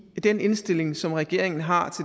den indstilling som regeringen har